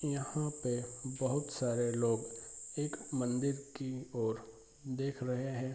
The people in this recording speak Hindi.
इहाँ पे बहुत सारे लोग एक मंदिर की ओर देख रहे हैं।